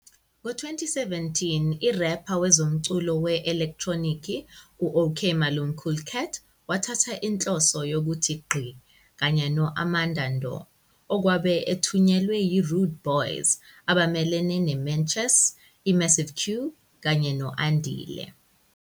Ngo-2017, i-rapper wezomculo we-elektronikhi u-Okmalumkoolkat wathatha inhloso yokuthi "Gqi" kanye no-Amadando, okwabe ethunyelwe yi-Rudeboyz, abamelene ne-Menchess, i-Massive Q, kanye no-Andile.